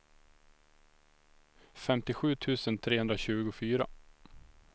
femtiosju tusen trehundratjugofyra